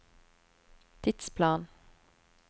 tidsplan